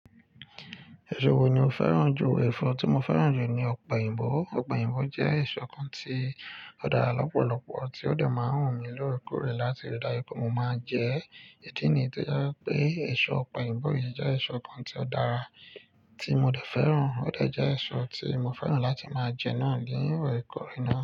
Ẹ̀ṣọ́ wo ni o fẹ́ràn jù? Ẹ̀fọ́ tí mo fẹ́ràn jù ni ọ̀pẹ̀yìnbó. Ọ̀poyìnbó jẹ́ ẹ̀ṣọ́ kan tí ó dára lọ́pọ̀lọpọ̀ tí ó de máà ń wù mí lóre kó re láti rí dáju pe. Mo máa ń jẹ ẹ́. Ìdí nìyi tío jẹ́ wipé ẹ̀ṣọ́ ọ̀poyìnbó yìí jẹ́ ẹ̀ṣọ́ kan tí ó dára tí mo dẹ̀ fẹ́ràn. Ó de jẹ́ eṣo tí mo fẹ́ràn láti máa jẹ́ náà níi orekóre na.